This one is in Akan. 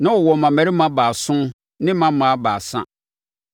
Na ɔwɔ mmammarima baason ne mmammaa baasa,